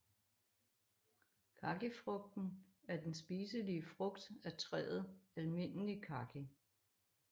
Kakifrugten er den spiselige frugt af træet Almindelig Kaki